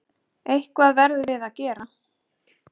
Eitthvað verðum við að gera.